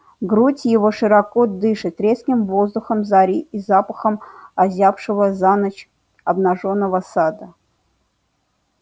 грудь его широко дышит резким воздухом зари и запахом озябшего за ночь обнажённого сада